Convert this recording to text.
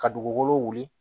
Ka dugukolo wuli